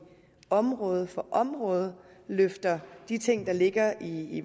område for område løfter de ting der ligger i